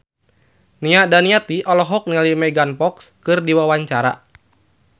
Nia Daniati olohok ningali Megan Fox keur diwawancara